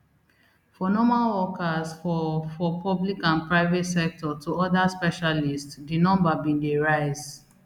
from normal workers for for public and private sector to oda specialists di numbers bin dey rise